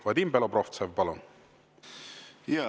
Vadim Belobrovtsev, palun!